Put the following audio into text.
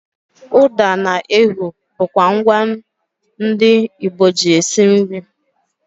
ụda na ehu bụkwa ngwa ndị Igbo ji esi nri